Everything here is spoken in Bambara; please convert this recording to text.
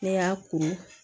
Ne y'a ko